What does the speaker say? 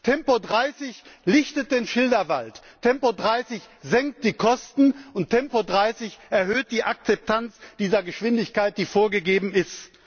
Tempo30 lichtet den Schilderwald, Tempo30 senkt die Kosten und Tempo30 erhöht die Akzeptanz dieser Geschwindigkeit, die vorgegeben ist.